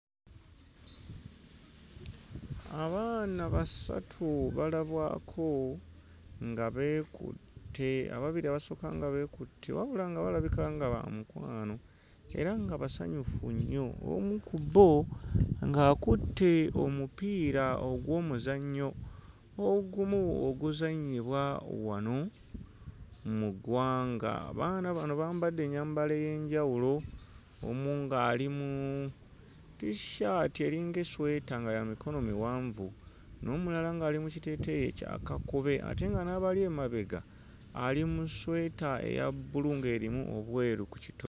Abaana basatu balabwako nga beekutte, ababiri abasooka nga beekutte wabula nga balabika nga ba mukwano era nga basanyufu nnyo. Omu ku bbo akutte omupiira ogw'omuzannyo ogumu oguzannyibwa wano mu ggwanga. Abaana bano bambadde ennyambala ey'enjawulo, omu ng'ali mu tisshati eringa essweeta nga ya mikono miwanvu n'omulala ng'ali mu kiteteeyi ekya kakobe ate nga n'abali emabega ali mu ssweta eya bbulu ng'erimu obweru ku kito.